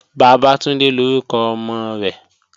Bàbátúndé lórúkọ ọmọ rẹ̀